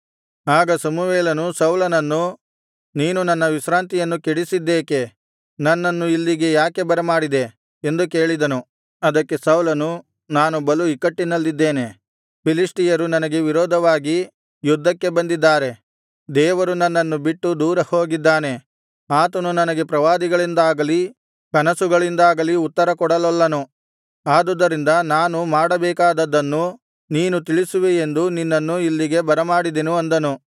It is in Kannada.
ಆಗ ಸಮುವೇಲನು ಸೌಲನನ್ನು ನೀನು ನನ್ನ ವಿಶ್ರಾಂತಿಯನ್ನು ಕೇಡಿಸಿದ್ದೇಕೆ ನನ್ನನ್ನು ಇಲ್ಲಿಗೆ ಯಾಕೆ ಬರಮಾಡಿದೆ ಎಂದು ಕೇಳಿದನು ಅದಕ್ಕೆ ಸೌಲನು ನಾನು ಬಲು ಇಕ್ಕಟ್ಟಿನಲ್ಲಿದ್ದೇನೆ ಫಿಲಿಷ್ಟಿಯರು ನನಗೆ ವಿರೋಧವಾಗಿ ಯುದ್ಧಕ್ಕೆ ಬಂದಿದ್ದಾರೆ ದೇವರು ನನ್ನನ್ನು ಬಿಟ್ಟು ದೂರ ಹೋಗಿದ್ದಾನೆ ಆತನು ನನಗೆ ಪ್ರವಾದಿಗಳಿಂದಾಗಲಿ ಕನಸುಗಳಿಂದಾಗಲಿ ಉತ್ತರಕೊಡಲೊಲ್ಲನು ಆದುದರಿಂದ ನಾನು ಮಾಡಬೇಕಾದದ್ದನ್ನು ನೀನು ತಿಳಿಸುವಿಯೆಂದು ನಿನ್ನನ್ನು ಇಲ್ಲಿಗೆ ಬರಮಾಡಿದೆನು ಅಂದನು